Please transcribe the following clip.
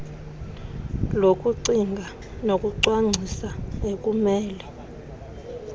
lokucinga nokucwangcisa ekumele